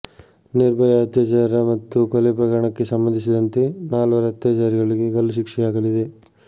ನಿರ್ಭಯಾ ಅತ್ಯಾಚಾರ ಮತ್ತು ಕೊಲೆ ಪ್ರಕರಣಕ್ಕೆ ಸಂಬಂಧಿಸಿದಂತೆ ನಾಲ್ವರು ಅತ್ಯಾಚಾರಿಗಳಿಗೆ ಗಲ್ಲುಶಿಕ್ಷೆಯಾಗಲಿದೆ